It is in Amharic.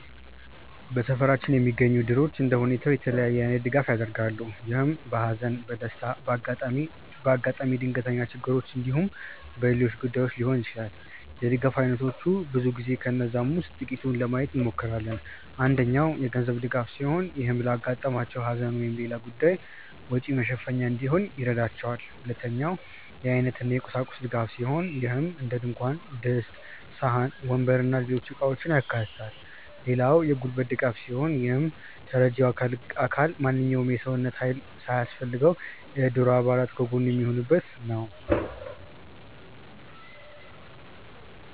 በሰፈራችን የሚገኙት እድሮች እንደየሁኔታው የተለያየ አይነት ድጋፍ ያደርጋሉ። ይህም በሃዘን፣ በደስታ፣ በአጋጣሚ ድንገተኛ ችግሮች እንዲሁም በሌሎች ጉዳዮች ሊሆን ይችላል። የድጋፍ አይነቶቹ ብዙ ሲሆኑ ከነዛም ውስጥ ጥቂቱን ለማየት እንሞክር። አንደኛው የገንዘብ ድጋፍ ሲሆን ይህም ለአጋጠማቸው ሃዘን ወይም ሌላ ጉዳይ ወጪ መሸፈኛ እንዲሆን ይረዳቸዋል። ሁለተኛው የአይነት እና የቁሳቁስ ድጋፍ ሲሆን ይህም እንደድንኳን ድስት፣ ሳህን፣ ወንበር እና ሌሎች እቃውችን ያካታል። ሌላው የጉልበት ድጋፍ ሲሆን ይህም ተረጂው አካል ማንኛውም የሰው ሃይል ሲያስፈልገው የእድሩ አባል ከጎኑ የሚሆኑበት ነው።